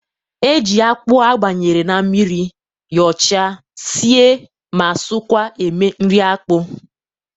E ji akpụ abanyere n'mmiri, yọọcha, sie ma sọọkwa eme nri akpụ.